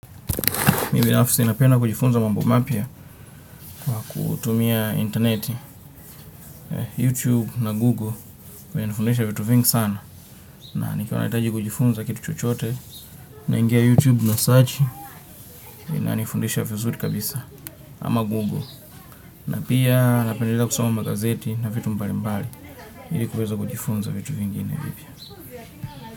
Mi binafisi napenda kujifunza mambo mapya kwa kutumia interneti, YouTube na Google kwa ya nifundisha vitu vingi sana na nikiwa nahitaji kujifunza kitu chochote naingia YouTube na search ina nifundisha vizuri kabisa ama Google na pia napendelea kusoma magazeti na vitu mbali mbali ilikuweza kujifunza vitu vingine vipia.